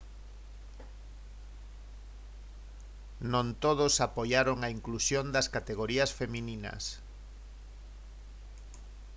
non todos apoiaron a inclusión das categorías femininas